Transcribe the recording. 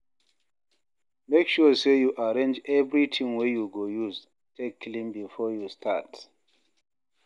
mek sure sey yu arrange evritin wey yu go use take clean bifor yu start